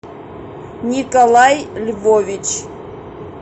николай львович